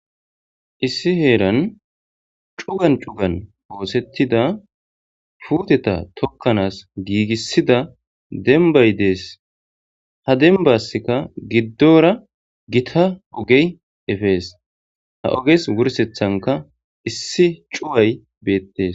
Issi herani cugani cugani osetida puuteta tokanasi gigisida dembayi de'esi. Ha dembasika gidora Gita ogeyi efesi, ha oges wursethanka issi cuway betes.